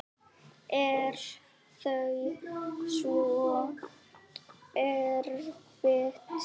Er það svo erfitt?